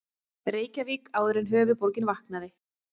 Reykjavík áður en höfuðborgin vaknaði.